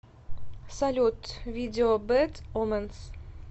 салют видео бэд оменс